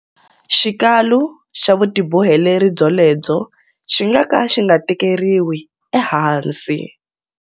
Xikalu xa vutiboheleri byolebyo xi nga ka xi nga tekeriwi ehansi.